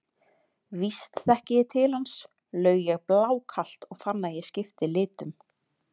Víst þekki ég til hans, laug ég blákalt og fann að ég skipti litum.